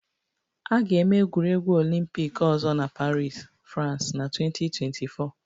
A ga-eme egwuregwu Olympic ọzọ na Paris, France na 2024